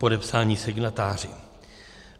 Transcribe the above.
Podepsáni signatáři.